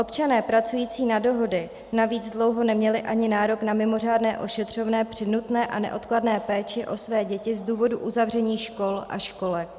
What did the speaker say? Občané pracující na dohody navíc dlouho neměli ani nárok na mimořádné ošetřovné při nutné a neodkladné péči o své děti z důvodu uzavření škol a školek.